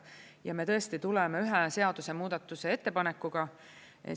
Me tõesti tuleme ühe seadusemuudatuse ettepanekuga.